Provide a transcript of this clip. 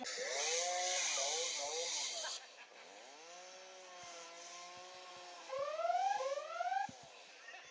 verksmiðju sem stendur í útjaðri borgarinnar.